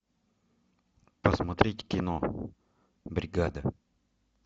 посмотреть кино бригада